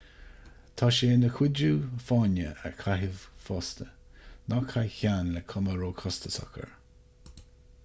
tá sé ina chuidiú fáinne a chaitheamh fosta ná caith ceann le cuma róchostasach air